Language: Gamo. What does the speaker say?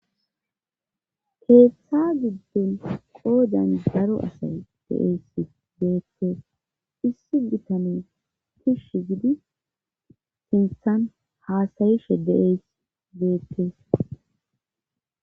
Keeththa gidden qoodan daro asay deeys deette issi bitane kishsh gidi sinthan haasayishe deeys deettes.